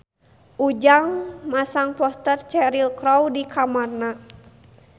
Ujang masang poster Cheryl Crow di kamarna